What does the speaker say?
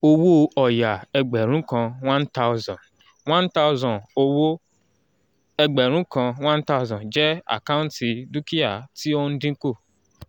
owó ọ̀ya ẹgbẹ̀rún kan one thousand one thousand (1000) owó ẹgbẹ̀rún kan one thousand jẹ́ àkáǹtì dúkìá tí ó ń dínkù